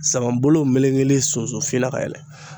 Saban bolo melekelen sunsun fin na ka yɛlɛ.